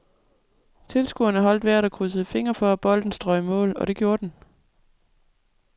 Tilskuerne holdt vejret og krydsede fingre for, at bolden strøg i mål, og det gjorde den.